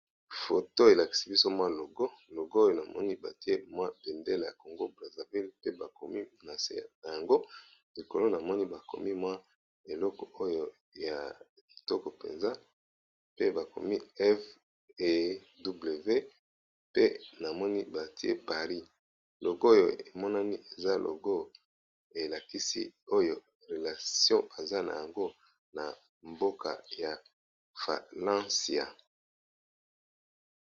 foto elakisi biso mwa logo logoyo namoni batie mwa pendele ya congo braseville pe bakomi nasna yango likolo namoni bakomi mwa eloko oyo ya toko mpenza pe bakomi few pe namoni batie paris logo oyo emonani eza logo elakisi oyo relation aza na yango na mboka ya falencia